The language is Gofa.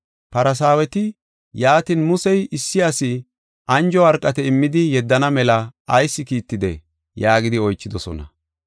Farsaaweti, “Yaatin, Musey issi asi anjo worqate immidi yeddana mela ayis kiittidee?” yaagidi oychidosona.